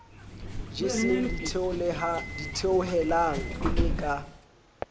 jeseng ditheohelang e le ka